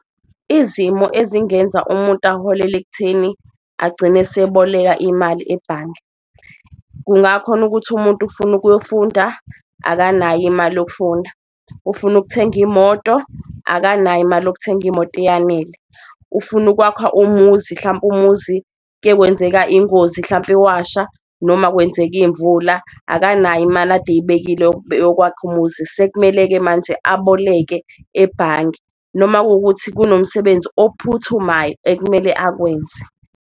Izimo ezingenza umuntu aholele ekutheni agcine eseboleka imali ebhange, kungakhona ukuthi umuntu ufuna ukuyofunda akanayo imali yokufunda, ufuna ukuthenga imoto akanayo imali yokuthenga imoto eyanele. Ufuna ukwakha umuzi hlampe umuzi kuye kwenzeka ingozi hlampe washa, noma kwenzeka iy'mvula akanayo imali ade eyibekile yokwakha umuzi, sekumele-ke manje aboleke ebhange noma kuwukuthi kunomsebenzi ophuthumayo ekumele akwenze.